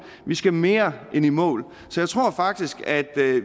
vi skal mere end i mål så jeg tror faktisk at